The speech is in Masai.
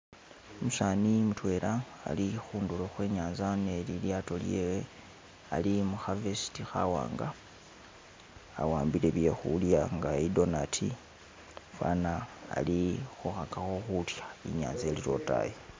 Umusani yi mutwela ali kundulo kwe nyanza ni lilyato lyehe, ali mu kavesiti kawanga, awambile byekulya inga idonati, fana ali khukagako kulya, inyanza ili lotayi